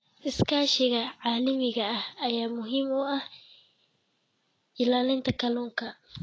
Iskaashiga caalamiga ah ayaa muhiim u ah ilaalinta kalluunka.